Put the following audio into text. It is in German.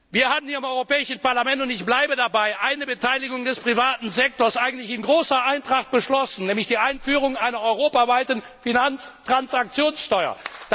Wir haben im Europäischen Parlament und ich bleibe dabei eine Beteiligung des privaten Sektors in großer Eintracht beschlossen, nämlich die Einführung einer europaweiten Finanztransaktionssteuer.